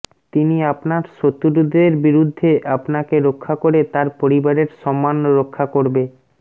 তিনি আপনার শত্রুদের বিরুদ্ধে আপনাকে রক্ষা করে তার পরিবারের সম্মান রক্ষা করবে